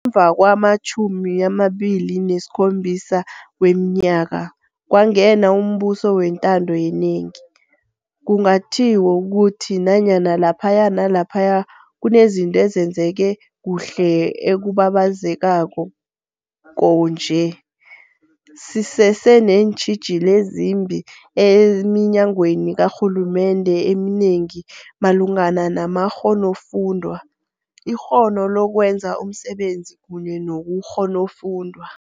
Ngemva kwama-27 wemi nyaka kwangena umbuso wentando yenengi, kunga tjhiwo ukuthi nanyana la phaya nalaphaya kunezinto ezenzeke kuhle okubabaze kako nje, sisese neentjhijilo ezimbi eminyangweni ka rhulumende eminengi malu ngana namakghonofundwa, ikghono lokwenza umsebenzi kunye nobukghonofundwa.